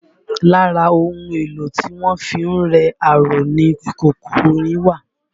Lára ohun èlò tí wọ́n fi ń rẹ aró ni kòkò irin wà